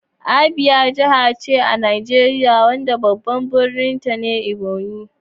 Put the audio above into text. Abia Jiha ce a Najeriya wadda babban birninta ne Umuahia.